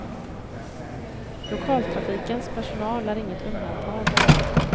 Lokaltrafikens personal är inget undantag.